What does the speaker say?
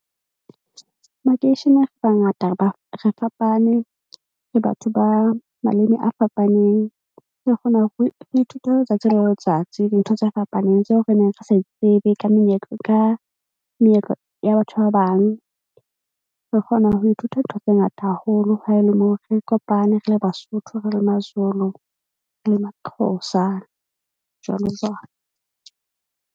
Makeisheneng re bangata. Re ba re fapane le batho ba maleme a fapaneng. Re kgona hore re ithute letsatsi le letsatsi. Dintho tse fapaneng tseo re neng re sa tsebe ka menyetla ka meetlo ya batho ba bang. Re kgona ho ithuta ntho tse ngata haholo. Ha e le moo re kopane, re le Basotho, re le Mazulu, re le Maxhosa jwalo jwalo.